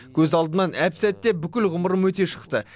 көз алдымнан әп сәтте бүкіл ғұмырым өте шықты